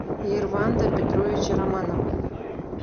ерванда петровича романова